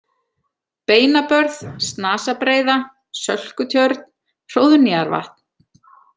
Beinabörð, Snasabreiða, Sölkutjörn, Hróðnýjarvatn